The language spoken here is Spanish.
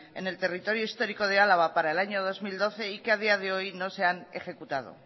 en el territorio histórico de álava para el año dos mil doce y que a día de hoy no se han ejecutado